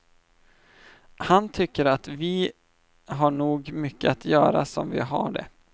Han tycker att vi har nog mycket att göra som vi har det.